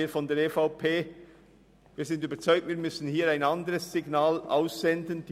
Wir sind davon überzeugt, dass wir hier ein anderes Signal aussenden müssen.